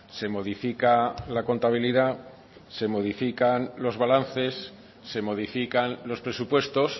se modifica la contabilidad se modifican los balances se modifican los presupuestos